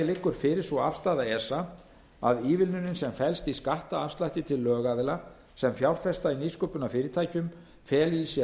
liggur fyrir sú afstaða esa að ívilnunin sem felst í skattafslætti til lögaðila sem fjárfesta í nýsköpunarfyrirtækjum feli í sér